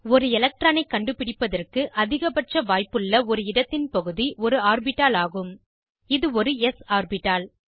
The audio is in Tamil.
ஒரு எலக்ட்ரானை கண்டுபிடிப்பதற்கு அதிகப்பட்ச வாய்ப்புள்ள ஒரு இடத்தின் பகுதி ஒரு ஆர்பிட்டால் ஆகும் இது ஒருs ஆர்பிட்டால்